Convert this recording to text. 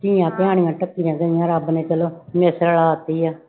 ਧੀਆਂ ਭੈਣਾਂ ਢਕੀਆਂ ਗਈਆਂ ਰੱਬ ਨੇ ਚਲੋ ਰਲਾ ਦਿੱਤੀ ਆ।